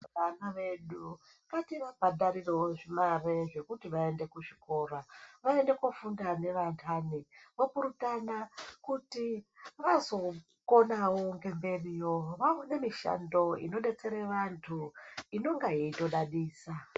Vana vedu ngativabhadharirewo mare dzekuti vaende kuzvikora vaende kofunda nevandani vopurutana kuti vazokona ngemberiyo vaone mishando inodetsere vantu inonga yeitodadisa.